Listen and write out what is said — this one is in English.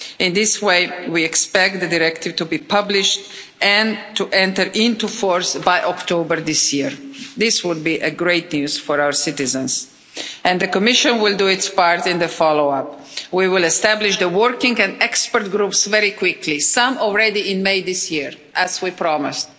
In this way, we expect the directive to be published and to enter into force by October of this year. This would be great news for our citizens and the Commission will do its part in the follow-up. We will establish the working and expert groups very quickly, some already in May this year, as we promised,